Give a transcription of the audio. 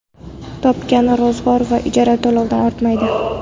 Topgani ro‘zg‘or va ijara to‘lovidan ortmaydi.